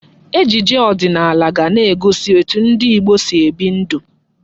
Ejije ọdịnala ga na-egosi etu ndị Igbo si ebi ndụ.